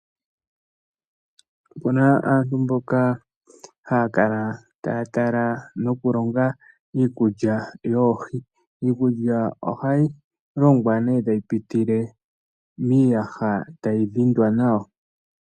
Opuna aanru mboka haya kala taya tala noku longa iikulya yoohi iikulya ohayi longwa nee tayi pitile miiyaha tayi dhindwa nawa